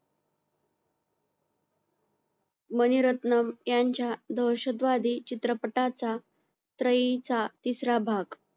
मणिरत्नम यांच्या दहशतवादी चित्रपटांचा तिसरा भाग